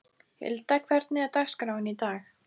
Hilda, hvernig er dagskráin í dag?